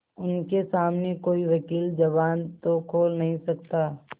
उनके सामने कोई वकील जबान तो खोल नहीं सकता